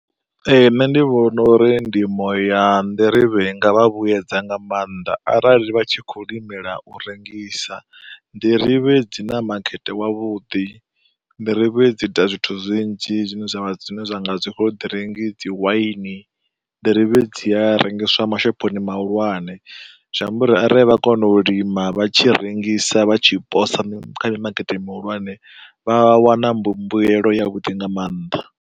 Ee nṋe ndi vhona uri ndimo ya nḓirivhe i nga vha vhuedza nga maanḓa arali vha tshi kho u limela u rengisa. Nḓirivhe dzi na makete wavhuḓi, nḓirivhe dzi ita zwithu zwinzhi zwi ne zwa vha zwi ne zwa nga dzi khoḓiringi, dzi waini, nḓirivhe dzi a rengeswa mashophoni mahulwane. Zwi amba uri arali vha kona u lima vha tshi rengisa vha tshi posa kha mimakete mihulwane, vha a wana mbu mbuelo ya vhuḓi nga mannḓa.